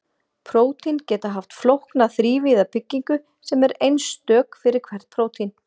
prótín geta haft flókna þrívíða byggingu sem er einstök fyrir hvert prótín